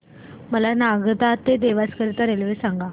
मला नागदा ते देवास करीता रेल्वे सांगा